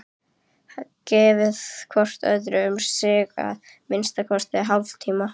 Gefið hvoru ykkar um sig að minnsta kosti hálftíma.